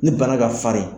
Ni bana ka farin